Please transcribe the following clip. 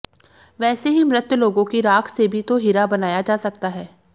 वैसे ही मृत लोगों की राख से भी तो हीरा बनाया जा सकता है